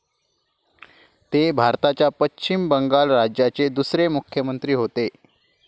ते भारताच्या पश्चिम बंगाल राज्याचे दुसरे मुख्यमंत्री होते.